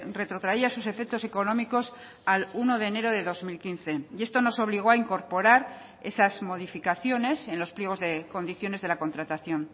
retrotraía sus efectos económicos al uno de enero de dos mil quince y esto nos obligó a incorporar esas modificaciones en los pliegos de condiciones de la contratación